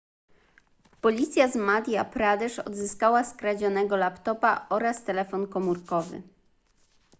policja z madhya pradesh odzyskała skradzionego laptopa oraz telefon komórkowy